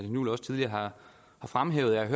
juhl også tidligere har fremhævet jeg